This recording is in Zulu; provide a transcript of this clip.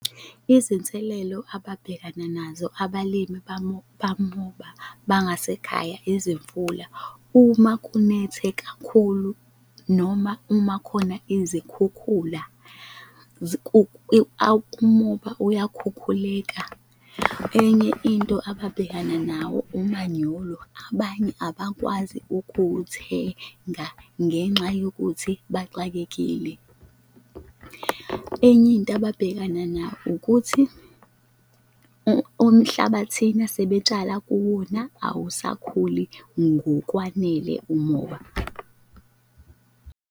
Izinselelo ababhekana nazo abalimi bamoba bangasekhaya izimvula. Uma kunethe kakhulu noma uma khona izikhukhula umoba uyakhukhuleka. Enye into ababhekana nawo umanyolo abanye abakwazi ukuwuthenga ngenxa yokuthi baxakekile. Enye into ababhekana nayo ukuthi umhlabathini asebetshala kuwona, awusakhuli ngokwanele umoba.